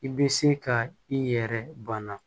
I bɛ se ka i yɛrɛ bana